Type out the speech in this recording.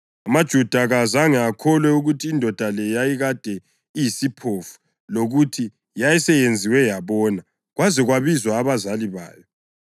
AmaJuda kawazange akholwe ukuthi indoda le yayikade iyisiphofu lokuthi yayisiyenziwe yabona kwaze kwabizwa abazali bayo.